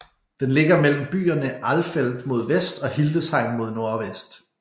Den ligger mellem byerne Alfeld mod vest og Hildesheim mod nordvest